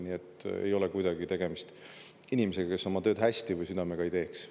Nii et ei ole kuidagi tegemist inimesega, kes oma tööd hästi või südamega ei teeks.